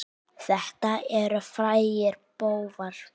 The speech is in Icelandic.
Þetta eru frægir bófar.